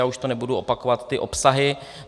Já už to nebudu opakovat ty obsahy.